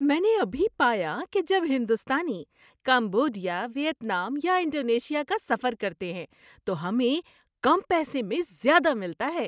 میں نے ابھی پایا کہ جب ہندوستانی کمبوڈیا، ویتنام یا انڈونیشیا کا سفر کرتے ہیں تو ہمیں کم پیسے میں زیادہ ملتا ہے۔